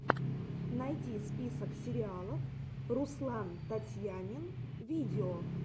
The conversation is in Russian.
найди список сериалов руслантатьянинвидео